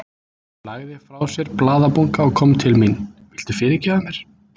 Hann lagði frá sér blaðabunka og kom til mín. Viltu fyrirgefa mér?